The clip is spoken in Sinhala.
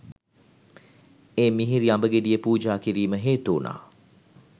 ඒ මිහිරි අඹ ගෙඩිය පූජා කිරීම හේතු වුණා.